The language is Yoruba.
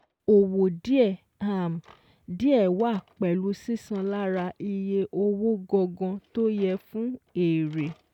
Owo díẹ̀ um díẹ̀ wà pẹ̀lú sísan lára iye owó gangan tó yẹ fún èrè